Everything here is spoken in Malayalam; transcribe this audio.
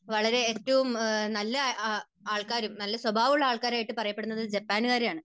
വളരെ ഏറ്റവും നല്ല ആൾക്കാരും നല്ല സ്വഭാവം ഉള്ള ആൾക്കാർ ആയിട്ട് പറയപ്പെടുന്നതും ജപ്പാൻകാരാണ്.